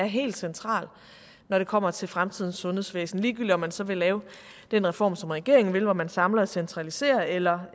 helt central når det kommer til fremtidens sundhedsvæsen ligegyldigt om man så vil lave den reform som regeringen vil hvor man samler og centraliserer eller